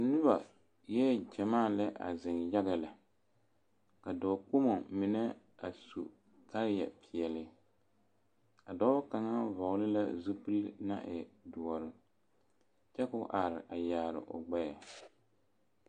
Noba eɛɛ ɡyamaa lɛ a zeŋ yaɡa lɛ ka dɔɔkpomo mine a su kaayɛpeɛle a dɔɔ kaŋa vɔɔli la zupili na e doɔre kyɛ ka o are a yaare o ɡbɛɛ.